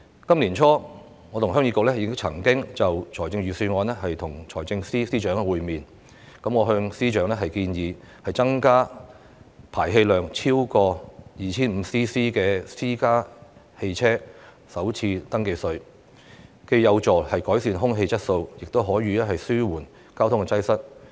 今年年初，我和新界鄉議局曾就預算案與財政司司長會面。我向司長建議增加排氣量超過 2,500 立方厘米的私家車的首次登記稅，原因是既有助改善空氣質素，亦可以紓緩交通擠塞。